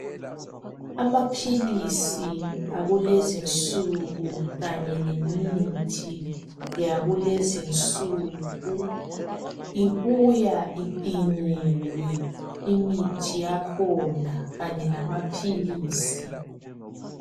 Amaphilisi akulezinsuku kanye lemthi yakulezinsuku ibuya ipinyiwe imithi yakhona kanye lamaphilisi.